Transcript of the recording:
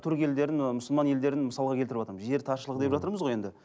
түрік елдерін ы мұсылман елдерін мысалға келтірватырмын жер таршылығы деп жатырмыз ғой енді